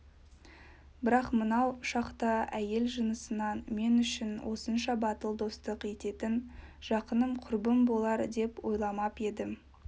бірақ мынау шақта әйел жынысынан мен үшін осынша батыл достық ететін жақыным құрбым болар деп ойламап едім